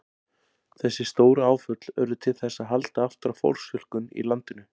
Þessi stóru áföll urðu til þess að halda aftur af fólksfjölgun í landinu.